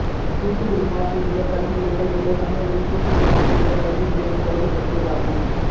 தூத்துக்குடி மாவட்டத்திலுள்ள கல்வி நிலையங்கள் என்பது தமிழகத்தின் தூத்துக்குடி மாவட்டத்திலுள்ள கல்வி நிலையங்களைப் பற்றியதாகும்